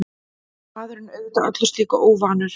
Maðurinn auðvitað öllu slíku óvanur.